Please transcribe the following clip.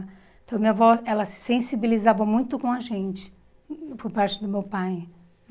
Então, minha avó, ela se sensibilizava muito com a gente, por parte do meu pai,